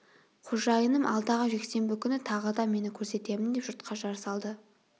қожайыным алдағы жексенбі күні тағы да мені көрсетемін деп жұртқа жар салды